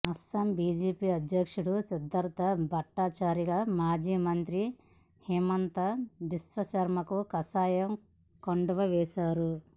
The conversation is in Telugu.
అస్సాం బిజెపి అధ్యక్షుడు సిద్దార్థ భట్టాచార్య మాజీ మంత్రి హిమాంత బిశ్వశర్మకు కాషాయ కండువా వేసేశారు